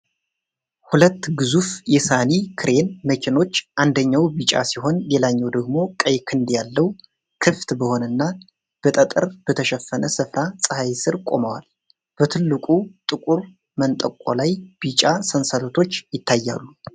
ሁለት ግዙፍ የሳኒ ክሬን መኪኖች፣ አንደኛው ቢጫ ሲሆን ሌላኛው ደግሞ ቀይ ክንድ ያለው፣ ክፍት በሆነና በጠጠር በተሸፈነ ስፍራ ፀሐይ ስር ቆመዋል። በትልቁ ጥቁር መንጠቆ ላይ ቢጫ ሰንሰለቶች ይታያሉ።